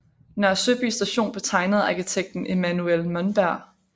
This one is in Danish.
Nørre Søby station blev tegnet af arkitekten Emanuel Monberg